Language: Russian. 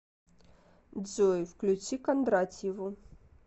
джой включи кондратьеву